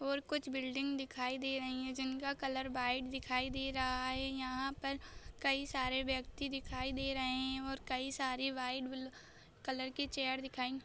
और कुछ बिल्डिंग दिखाई दे रही है जिनका कलर व्हाइट दिखाई दे रहा है यहा पर कई सारे व्यक्ति दिखाई दे रहे है और कई सारे व्हाइट ब कलर के चेअर दिखाई--